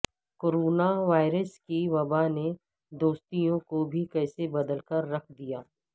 corona virus کی وبا نے دوستیوں کو بھی کیسے بدل کر رکھ دیا